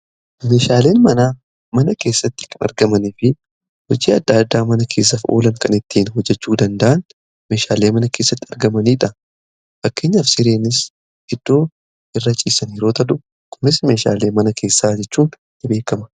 meeshaaleen mana keessatti argamanii fi hojii adda addaa mana keessaaf oolan kan ittiin hojjechuu danda'an meshaalee mana keessatti argamaniidha. Fakkenyaaf sireen eddoo irra ciisan yeroo ta'u kunis meeshaalee mana keessaa jechuun beekama.